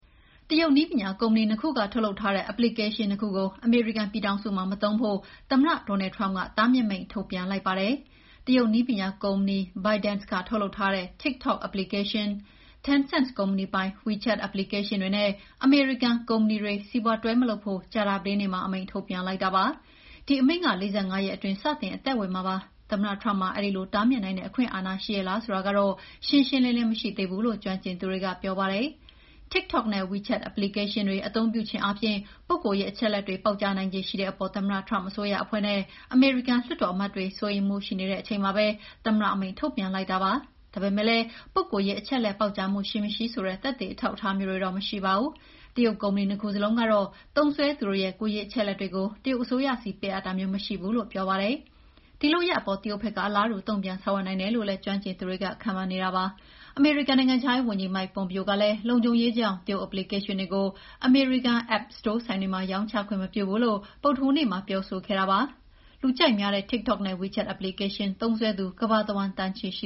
တရုတ်နည်းပညာကုမ္ပဏီ နှစ်ခုက ထုတ်လုပ်ထားတဲ့ Application နှစ် ခုကို အမေရိကန်ပြည်ထောင်စုမှာ မသုံးဖို့ သမ္မတ Donald Trump က တားမြစ်မိန့်ထုတ်ပြန်လိုက်ပါတယ်။ တရုတ်နည်းပညာကုမ္ပဏီ ByteDance က ထုတ်လုပ်ထားတဲ့ TikTok app၊ Tencent ကုမ္ပဏီပိုင် WeChat app တွေနဲ့ အမေရိကန်ကုမ္ပဏီတွေ တွဲမလုပ်ဖို့ ကြာသပတေးနေ့မှာ အမိန့်ထုတ်ပြန်လိုက်တာပါ။ ဒီအမိန့်က ၄၅ ရက်အတွင်း စတင်အသက်ဝင်မှာဖြစ်ပါတယ်။ သမ္မတ Trump မှာ အဲဒီလိုတားမြစ်နိုင်တဲ့အခွင့်အာဏာ ရှိရဲ့လားဆိုတာကတော့ ရှင်းရှင်းလင်းလင်း မရှိသေးဘူးလို့ ကျွမ်းကျင်သူတွေက ပြောပါတယ်။ TikTok နဲ့ WeChat application တွေ အသုံးပြုခြင်းအားဖြင့် ပုဂ္ဂိုလ်ရေးအချက်အလက်တွေပေါက်ကြားနိုင်ခြေရှိတဲ့အပေါ်သမ္မတ Trump အစိုးရအဖွဲ့နဲ့ အမေရိကန်လွှတ်တော်အမတ်တွေ စိုးရိမ်မှုရှိနေတဲ့အချိန်မှာပဲ သမ္မတအမိန့်ထုတ်ပြန်လိုက်တာပါ။ ဒါပေမဲ့လည်း ပုဂ္ဂိုလ်ရေးအချက်အလက်ပေါက်ကြားမှု ရှိမရှိဆိုတဲ့ သက်သေအထောက်အထားမျိုးတွေတော့ မရှိပါဘူး။ တရုတ်ကုမ္ပဏီ နှစ်ခုစလုံးကတော့ သုံးစွဲသူတွေရဲ့ ကိုယ်ရေးအချက်အလက်တွေကို တရုတ်အစိုးရဆီပေးအပ်တာမျိုး မရှိဘူးလို့ ပြောပါတယ်။ ဒီလုပ်ရပ်အပေါ် တရုတ်ဘက်က အလားတူ တုံ့ပြန်ဆောင်ရွက်နိုင်တယ်လို့လည်း ကျွမ်းကျင်သူတွေခန့်မှန်းနေပါတယ်။ အမေရိကန်နိုင်ငံခြားရေးဝန်ကြီး Mike Pompeo ကလည်း လုံခြုံရေးကြောင့် တရုတ်application တွေကို အမေရိကန် App စတိုးဆိုင်တွေမှာ ရောင်းချခွင့်မပြုဘူးလို့ ဗုဒ္ဓဟူးနေ့မှာပြောဆိုခဲ့တာပါ။ လူကြိုက်များတဲ့ TikTok နဲ့ WeChat application သုံးစွဲသူ ကမ္ဘာတဝန်း သန်းချီရှ